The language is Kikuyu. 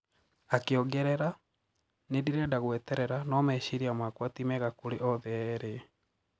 Akiongerera: Nindirenda gũeterera no meciria makwa ti mega kũri othe eri.